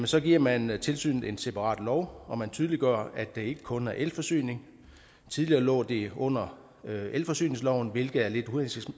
så giver man tilsynet en separat lov og man tydeliggør at det ikke kun elforsyning tidligere lå det under elforsyningsloven hvilket var lidt